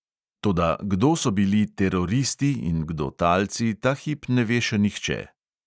Toda kdo so bili "teroristi" in kdo talci, ta hip ne ve še nihče.